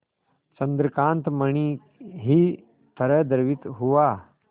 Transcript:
चंद्रकांत मणि ही तरह द्रवित हुआ